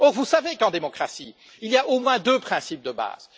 Vous savez qu'en démocratie, il y a au moins deux principes de base.